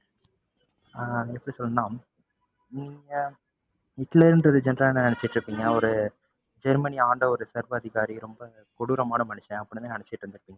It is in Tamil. ஆஹ் எப்படி சொல்றதுன்னா நீங்க ஹிட்லருன்றது general ஆ என்ன நினைச்சுட்டு இருப்பீங்க அவரு ஜெர்மனிய ஆண்ட ஒரு சர்வாதிகாரி, ரொம்ப கொடூரமான மனுஷன் அப்படின்னு தான் நினைச்சுட்டு இருந்துருப்பீங்க.